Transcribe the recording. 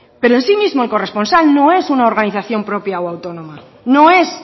pero en sí mismo el corresponsal no es una organización propia o autónoma no es